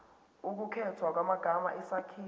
ukukhethwa kwamagama isakhiwo